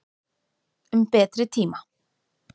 Um betri tíma.